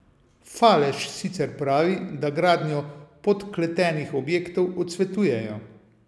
Falež sicer pravi, da gradnjo podkletenih objektov odsvetujejo.